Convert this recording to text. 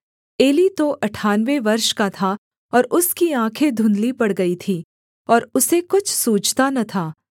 Eli तो अठानवे वर्ष का था और उसकी आँखें धुंधली पड़ गई थीं और उसे कुछ सूझता न था